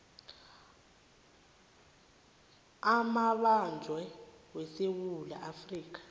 amabanjwa wesewula afrika